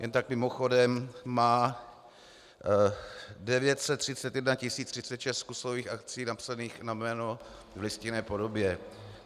Jen tak mimochodem, má 931 036 kusových akcií napsaných na jméno v listinné podobě.